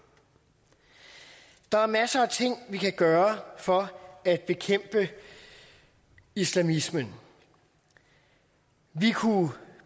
der er masser af ting vi kan gøre for at bekæmpe islamismen vi kunne